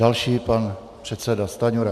Další pan předseda Stanjura.